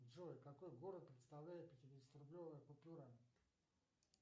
джой какой город представляет пятидесятирублевая купюра